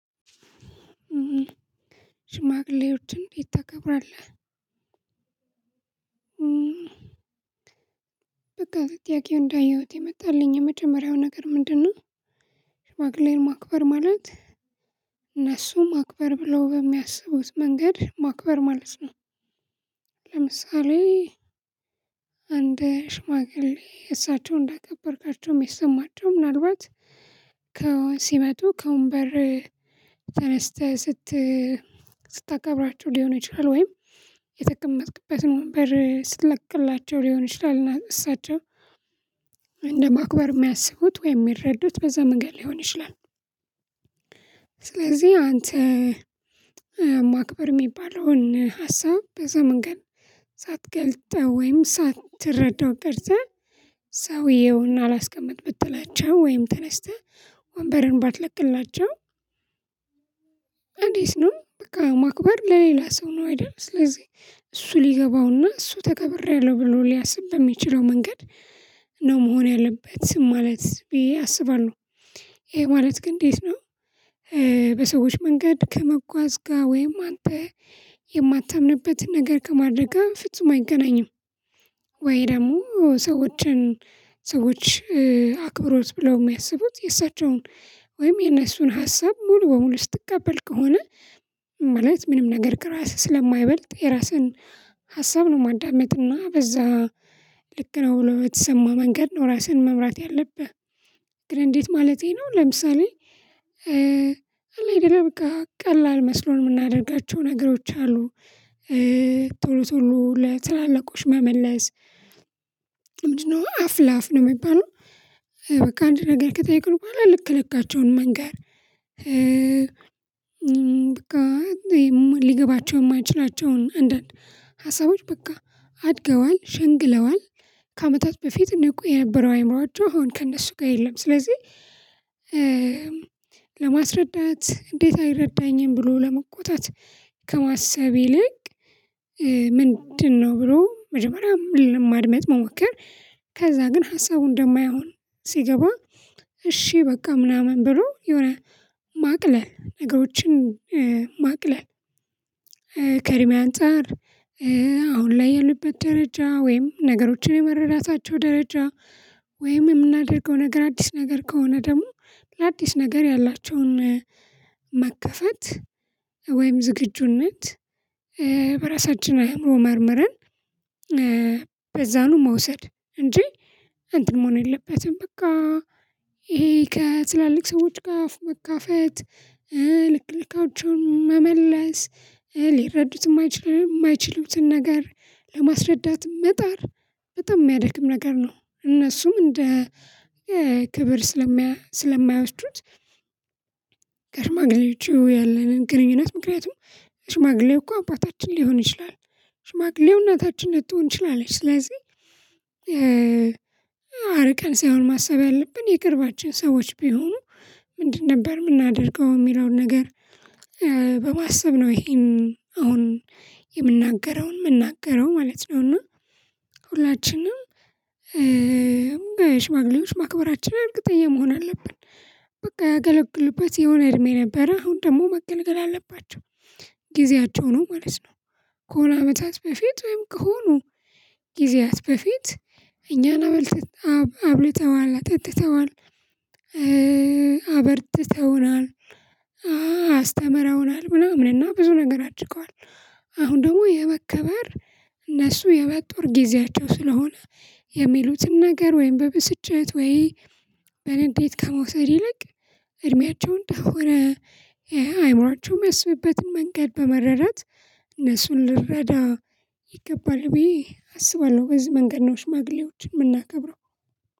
ሽማግሌዎችን ቤት ታከብራለህ በቃ ጥያቄው እንዳየሁት የመጣልኝ የመጀመሪያው ነገር ምንድነው? ሽማግሌ ማክበር ማለት እነሱም ማክበር ብለው በሚያስቡት መንገድ ማክበር ማለት ነው። ለምሳሌ አንድ ሽማግሌ እሳቸው እንዳቀበርካቸውም የሰማቸው ምናልባት ከወን ሲመጡ ከወን በር ተነስተህ ስት ስታገብራቸው ሊሆን ይችላል ወይም የተጠቀመጥክበትን ወንበር ስትለቅላቸው ሊሆን ይችላል እሳቸው እንደማክበር የሚያስቡት ወይም የሚረዱት በዛ መንገድ ሊሆን ይችላል። ስለዚህ አንተ ማክበር የሚባለውን ሀሳብ በዛ መንገድ ሳትገልጠው ወይም ሳትረዳው ቀርተህ ሰውየውን አላስቀምጥ ብትላቸው ወይም ተነስተህ ወንበርን ባትለቅላቸው። እንዴት ነው በቃ ማክበር ለሌላ ሰው ነው አይደል? ስለዚህ እሱ ሊገባውና እሱ ተከብሬያለሁ ብሎ ሊያስብ በሚችለው መንገድ ነው መሆን ያለበት ስም ማለት ቢ ያስባሉ። ይሄ ማለት ግን እንዴት ነው? በሰዎች መንገድ ከመጓዝ ጋር ወይም አንተ የማታምንበትን ነገር ከማድረግ ፍጹም አይገናኝም። ወይ ደግሞ ሰዎችን ሰዎች አክብሮት ብለው የሚያስቡት የእሳቸውን ወይም የእነሱን ሀሳብ ሙሉ በሙሉ ስትቀበል ከሆነ ማለት ምንም ነገር ከራስህ ስለማይበልጥ የራስህን ሀሳብ ነው ማዳመጥና በዛ ልክ ነው ብሎ የምትሰማ መንገድ ነው። ራስህን መምራት ያለብህ ግን እንዴት ማለቴ ነው ለምሳሌ አለብህ በቃ ቀላል መስሎን የምናደርጋቸው ነገሮች አሉ ቶሎ ቶሎ ለትላልቆሽ መመለስ ምንድነው አፍ ለአፍ ነው የሚባለው? በቃ አንድ ነገር ከጠየቅን በኋላ ልክ ልካቸውን መንገር ሊገባቸው የማይችላቸውን አንዳንድ ሀሳቦች በቃ አድገዋል ሸንግለዋል ከአመታት በፊት ንቁ የነበረው አይምሮአቸው አሁን ከእነሱ ጋር የለም። ስለዚህ ለማስረዳት እንዴት አይረዳኝም ብሎ ለመቆጣት ከማሰብ ይልቅ ሊገባውና እሱ ተከብሬያለሁ ብሎ ሊያስብ በሚችለው መንገድ ነው መሆን ያለበት ስም ማለት ቢ ያስባሉ። ይሄ ማለት ግን እንዴት ነው? በሰዎች መንገድ ከመጓዝ ጋር ወይም አንተ የማታምንበትን ነገር ከማድረግ ፍጹም አይገናኝም። ወይ ደግሞ ሰዎችን ሰዎች አክብሮት ብለው የሚያስቡት የእሳቸውን ወይም የእነሱን ሀሳብ ሙሉ በሙሉ ስትቀበል ከሆነ ማለት ምንም ነገር ከራስህ ስለማይበልጥ የራስህን ሀሳብ ነው ማዳመጥና በዛ ልክ ነው ብሎ የምትሰማ መንገድ ነው። ራስህን መምራት ያለብህ ግን እንዴት ማለቴ ነው ለምሳሌ አለብህ በቃ ቀላል መስሎን የምናደርጋቸው ነገሮች አሉ ቶሎ ቶሎ ለትላልቆሽ መመለስ ምንድነው? አፍ ለአፍ ነው የሚባለው በቃ አንድ ነገር ከጠየቅን በኋላ ልክ ልካቸውን መንገር ሊገባቸው የማይችላቸውን አንዳንድ ሀሳቦች በቃ አድገዋል ሸንግለዋል ከአመታት በፊት ንቁ የነበረው አይምሮአቸው አሁን ከእነሱ ጋር የለም። ስለዚህ ለማስረዳት እንዴት አይረዳኝም ብሎ ለመቆጣት ከማሰብ ይልቅ ምንድነው? ብሎ መጀመሪያ ማድመጥ መሞከር ከዛ ግን ሀሳቡን እንደማይሆን ሲገባ እሺ በቃ ምናምን ብሎ የሆነ ማቅለል ነገሮችን ማቅለል ምንድን ነበር የምናደርገው የሚለውን ነገር? በማሰብ ነው ይሄን አሁን የምናገረውን የምናገረው ማለት ነው። እና ሁላችንም በሽማግሌዎች ማክበራችን እርግጠኛ መሆን አለብን። በቃ ያገለግልባቸው የሆነ እድሜ ነበረ አሁን ደግሞ መገልገል አለባቸው ጊዜያቸው ነው ማለት ነው። ከሆነ አመታት በፊት ወይም ከሆኑ ጊዜያት በፊት እኛን አብልተዋል አጠጥተዋል አበርትተውናል አስተምረውናል ምናምን እና ብዙ ነገር አድርገዋል። አሁን ደግሞ የመከበር እነሱ የመጦር ጊዜያቸው ስለሆነ የሚሉትን ነገር ወይም በብስጭት ወይ በንዴት ከመውሰድ ይለቅ እድሜያቸው እንደሆነ ይሄ አይማራቸው የሚያስብበትን መንገድ በመረዳት እነሱን ልረዳ ይገባል ብዬ አስባለሁ። በዚህ መንገድ ነው ሽማግሌዎችን የምናከብረው።